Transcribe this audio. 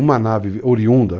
Uma nave oriunda.